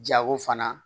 Jago fana